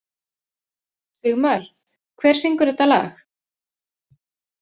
Sigmar, hver syngur þetta lag?